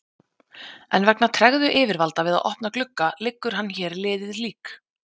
En vegna tregðu yfirvalda við að opna glugga liggur hann hér liðið lík.